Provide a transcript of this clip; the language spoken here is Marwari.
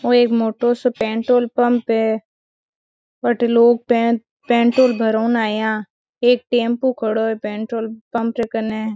वो एक मोटो सो पेट्रोल पंप है वठे लोग पै पेट्रोल भराऊ ने आया एक टेम्पो खडो है पेट्रोल पंप के कने।